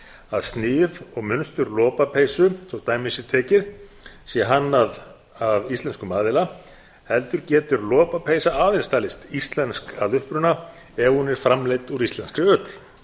að snið og munstur lopapeysu svo dæmi sé tekið sé hannað af íslenskum aðila heldur getur lopapeysa aðeins talist íslensk að uppruna ef hún er framleidd úr íslenskri ull